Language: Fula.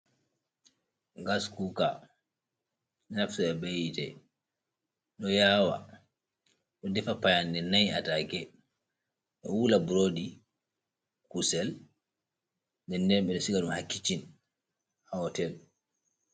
Gas kuka ɗo naftira ɓe hite ,ɗo yawa ɗo ɗefa payanɗe 4 atake ,ɗo wula ɓroɗi kusel ɗenɗen ɓo ɓe ɗo siga ɗum ha kicin ha hotel.